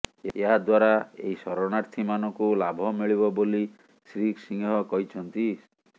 ଏହାଦ୍ୱାରା ଏହି ଶରଣାର୍ଥୀମାନଙ୍କୁ ଲାଭ ମିଳିବ ବୋଲି ଶ୍ରୀ ସିଂହ କହିଛନ୍ତି